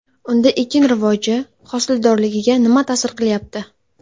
Unda ekin rivoji, hosildorligiga nima ta’sir qilyapti?